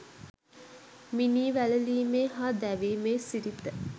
මිනී වැළලීමේ හා දැවීමේ සිරිත